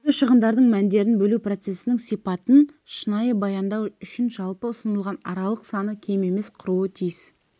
түнгі шығындардың мәндерін бөлу процесінің сипатын шынайы баяндау үшін жалпы ұсынылған аралық саны кем емес құруы тиіс